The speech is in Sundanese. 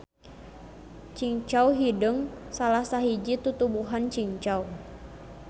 Cingcau hideung salah sahiji tutuwuhan cingcau.